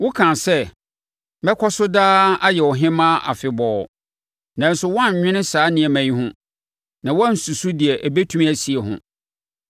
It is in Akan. Wokaa sɛ, ‘Mɛkɔ so daa, ayɛ ɔhemmaa afebɔɔ.’ Nanso woannwene saa nneɛma yi ho na woansusu deɛ ɛbɛtumi asie ho.